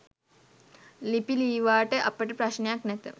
ලිපි ලීවාට අපට ප්‍රශ්නයක් නැත.